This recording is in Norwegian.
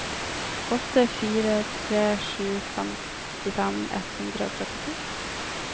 åtte fire tre sju femtifem ett hundre og trettito